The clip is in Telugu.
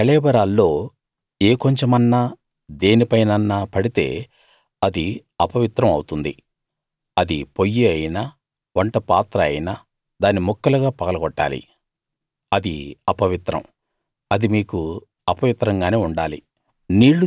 వాటి కళేబరాల్లో ఏ కొంచెమన్నా దేనిపైనన్నా పడితే అది అపవిత్రం అవుతుంది అది పొయ్యి అయినా వంటపాత్ర అయినా దాన్ని ముక్కలుగా పగలగొట్టాలి అది అపవిత్రం అది మీకు అపవిత్రంగానే ఉండాలి